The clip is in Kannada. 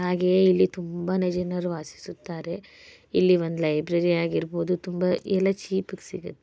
ಹಾಗೆಯೇ ಇಲ್ಲಿ ತುಂಬಾನೇ ಜನರು ವಾಸಿಸುತ್ತಾರೆ. ಇಲ್ಲಿ ಒಂದ್ ಲೈಬ್ರರಿ ಆಗಿರ್ಬೋದು ತುಂಬ ಎಲ್ಲ ಚೀಪ್ ಗೆ ಸಿಗತ್ತೆ.